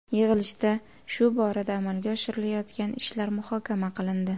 Yig‘ilishda shu borada amalga oshirilayotgan ishlar muhokama qilindi.